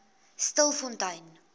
stilfontein